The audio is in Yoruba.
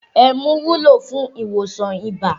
Ẹmu wúlò fún ìwòsàn ibà